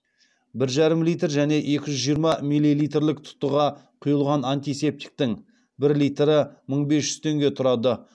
бір жарым литр және екі жүз жиырма миллилитрлік тұтыға құйылған антисептиктің бір литрі мың бес жүз теңге тұрады